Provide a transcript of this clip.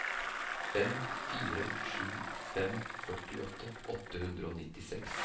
fem fire sju fem førtiåtte åtte hundre og nittiseks